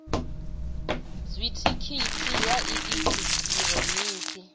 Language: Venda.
dzithikhithi ya i eki hironiki